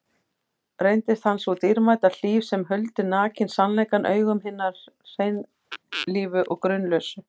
Reyndist hann sú dýrmæta hlíf sem huldi nakinn sannleikann augum hinna hreinlífu og grunlausu.